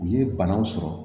U ye banaw sɔrɔ